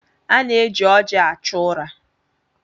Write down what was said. A na-eji ọjị achụ ụra.